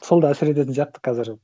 сол да әсер ететін сияқты қазір